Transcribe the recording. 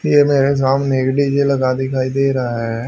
ये मेरे सामने एक डी_जे लगा दिखाई दे रहा है।